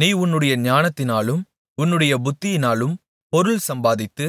நீ உன்னுடைய ஞானத்தினாலும் உன்னுடைய புத்தியினாலும் பொருள் சம்பாதித்து